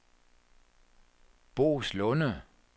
Boeslunde